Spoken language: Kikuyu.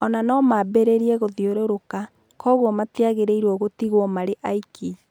O na no mambĩrĩrie gũthiũrũrũka, kwoguo matiagĩrĩiruo gũtigwo marĩ aiki.